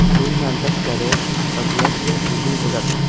Bundan tashqari, radiatsiya turli bo‘ladi.